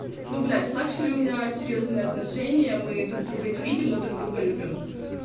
ну блядь с лакшери у меня серьёзные отношения мы друг друга не видим но друг друга любим